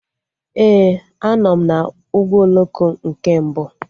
Ee, a nọ m na ụgbọ oloko nke mbụ